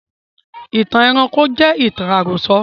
Ìtàn ẹranko jẹ ìtàn àròsọ